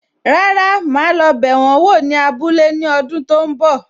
Rárá, ma lo bẹ wọn wò ní abúlé ní ọdún tó ń bọ̀.